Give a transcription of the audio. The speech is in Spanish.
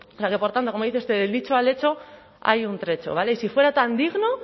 o sea que por tanto como dice usted del dicho al hecho hay un trecho y si fuera tan digno